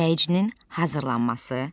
Dinləyicinin hazırlanması.